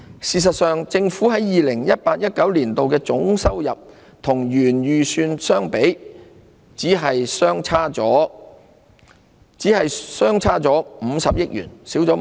事實上，政府在 2018-2019 年度的總收入與原本預算相比，只相差50億元。